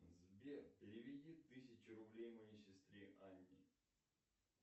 сбер переведи тысячу рублей моей сестре анне